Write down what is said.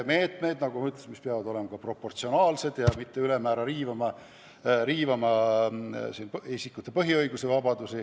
Need peavad, nagu ma ütlesin, olema proportsionaalsed ega tohi ülemäära riivata isikute põhiõigusi ja -vabadusi.